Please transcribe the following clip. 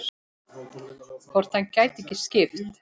Hvort hann gæti ekki skipt?